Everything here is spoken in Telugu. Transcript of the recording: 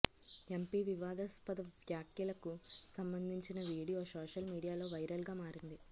ఎంపీ వివాదాస్పద వ్యాఖ్యలకు సంబంధించిన వీడియో సోషల్ మీడియాలో వైరల్గా మారింది